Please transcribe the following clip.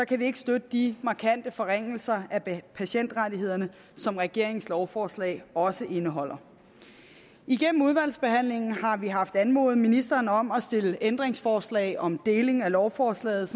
kan vi ikke støtte de markante forringelser af patientrettighederne som regeringens lovforslag også indeholder igennem udvalgsbehandlingen har vi haft anmodet ministeren om at stille ændringsforslag om deling af lovforslaget